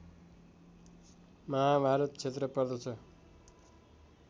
महाभारत क्षेत्र पर्दछ